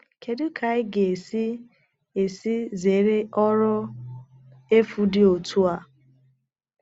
Kedu ka anyị ga - esi esi zere ọrụ efu dị otu a?